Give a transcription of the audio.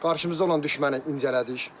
Qarşımızda olan düşməni incələdik.